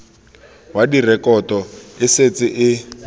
wa direkoto e setse e